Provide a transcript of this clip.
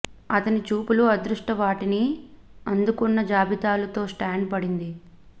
అతని చూపులు అదృష్ట వాటిని అందుకున్న జాబితాలు తో స్టాండ్ పడింది